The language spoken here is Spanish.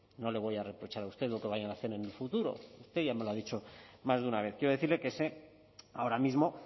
no le voy a reprochar a usted lo que vayan a hacer en el futuro usted ya me lo ha dicho más de una vez quiero decirle que ahora mismo